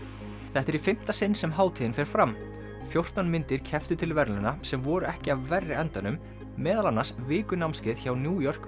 þetta er í fimmta sinn sem hátíðin fer fram fjórtán myndir kepptu til verðlauna sem voru ekki af verri endanum meðal annars vikunámskeið hjá New York